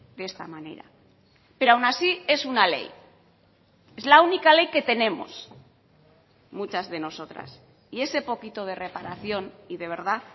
de esta manera pero aún así es una ley es la única ley que tenemos muchas de nosotras y ese poquito de reparación y de verdad